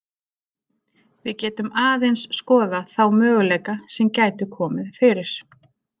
Við getum aðeins skoðað þá möguleika sem gætu komið fyrir.